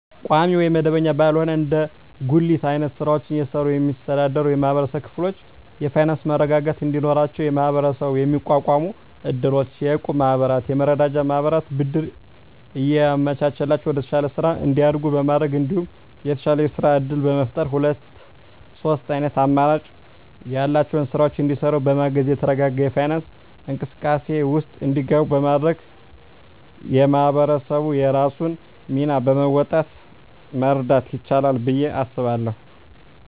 ቋሚ ወይም መደበኛ ባልሆነ እንደ ጉሊት አይነት ስራወችን እየሰሩ የሚስተዳደሩ የማህበረሰብ ክፍሎች የፋይናንሰ መረጋጋት እንዲኖራቸው በመሀበረሰቡ የሚቋቋሙ እድሮች፣ የእቁብ ማህበራትና የመረዳጃ ማህበራት ብድር እያመቻቸላቸው ወደተሻለ ስራ እንዲያድጉ በማድረግ እንዲሁም የተሻለ የስራ እድል በመፍጠርና ሁለት ሶስት አይነት አማራጭ ያላቸውን ስራወች እንዲሰሩ በማገዝ የተረጋጋ የፋይናንስ እንቅስቃሴ ውስጥ እንዲገቡ በማድረግ ማህበረሰቡ የራሱን ሚና በመወጣት መርዳት ይችላል ብየ አስባለሁ።